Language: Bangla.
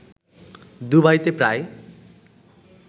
দুবাইতে প্রায়